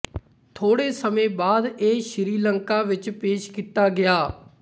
ਥੋੜੇ ਸਮੇਂ ਬਾਅਦ ਇਹ ਸ਼੍ਰੀਲੰਕਾ ਵਿੱਚ ਪੇਸ਼ ਕੀਤਾ ਗਿਆ